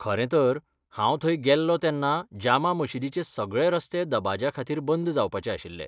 खरें तर, हांव थंय गेल्लों तेन्ना जामा मशीदीचे सगळे रस्ते दबाज्याखातीर बंद जावपाचे आशिल्ले.